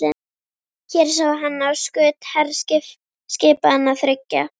Hér sá hann á skut herskipanna þriggja.